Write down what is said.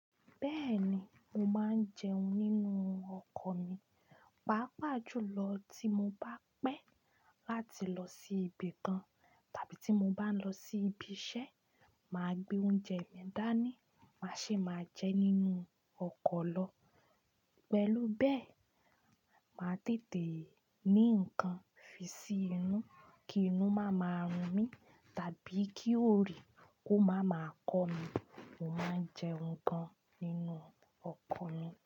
Bẹ́ẹ̀ni, mo máa ń jẹun nínú ọkọ̀ mi. Pàápàá jùlọ tí mo bá pẹ́ láti lọ sí ibì kan tàbí tí mo bá ń lọ sí ibi iṣẹ́, màá gbé oúnjẹ mi dání, màá ṣe máa jẹ nínú ọkọ̀ lọ. Pẹ̀lú bẹ́ẹ̀, màá tètè ní ǹkan fi sí inú kí inú má máa run mí tàbí kí ooyi kó má máa kọ́mi. Mo máa ń jẹun gan nínú ọkọ̀ mi.